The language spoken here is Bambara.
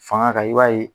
Fanga kan i b'a ye